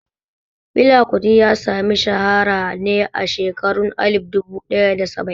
Fela Kuti ya sami shahara ne a shekarun alif duba ɗaya da saba'in